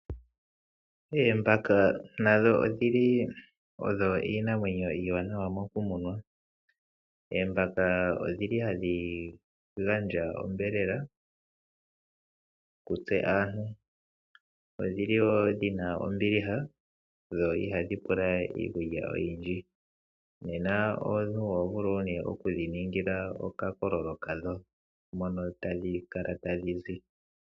Oombaka nadho odhili iinamwenyo iiwanawa moku munwa . Oombaka odhili hashi gandja onyama kutse aantu ,odhili woo dhina ombiliha dho ihadhi pula iikulya oyindji nena omuntu ohovulu nee okudhi ningila okakololo kadho mono tadhi kala tadhizi.